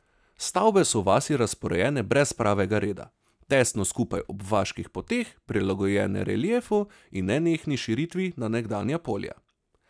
Stavbe v vasi so razporejene brez pravega reda, tesno skupaj ob vaških poteh, prilagojene reliefu in nenehni širitvi na nekdanja polja.